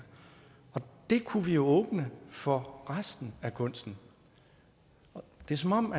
og det kunne vi åbne for resten af kunsten og det er som om